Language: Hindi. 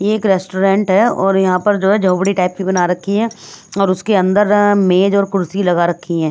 ये एक रेस्टोरेंट है और यहाँ पर जो है झोपड़ी टाइप की बना रखी है और उसके अंदर मेज और कुर्सी लगा रखी है।